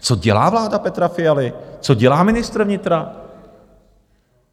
Co dělá vláda Petra Fialy, co dělá ministr vnitra?